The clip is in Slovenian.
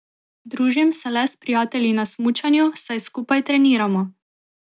Družim se le s prijatelji na smučanju, saj skupaj treniramo.